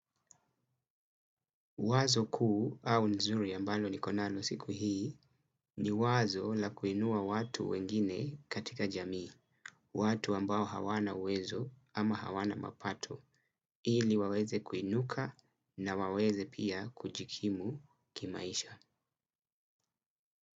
Wazo kuu au nzuri ambalo niko nalo siku hii ni wazo la kuinua watu wengine katika jamii, watu ambao hawana uwezo ama hawana mapato, ili waweze kuinuka na waweze pia kujikimu kimaisha.